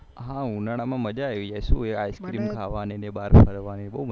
હા ઉનાળા માં મજા આયી જાયે શું હૈ ice cream ખાવાનીંને બહાર ફરવાની